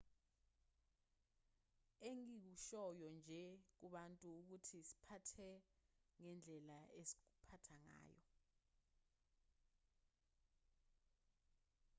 engikushoyo nje kubantu ngukuthi siphathe ngendlela esikuphatha ngayo